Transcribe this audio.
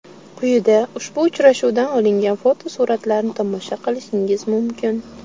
Quyida ushbu uchrashuvdan olingan fotosuratlarni tomosha qilishingiz mumkin.